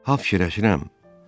Hop fikirləşirəm: